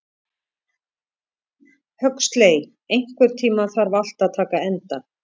Huxley, einhvern tímann þarf allt að taka enda.